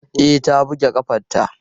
E, ta buge ƙafanta.